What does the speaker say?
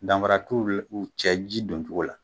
Danra t'u cɛ ji doncogo la.